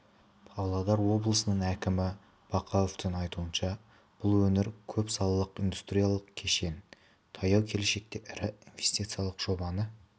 павлодар облысының әкімі бақауовтың айтуынша бұл өңір көп салалық индустриялық кешен таяу келешекте ірі инвестициялық жобаны